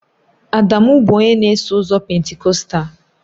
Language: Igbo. Adamu bụ onye na-eso ụzọ Pentikọstal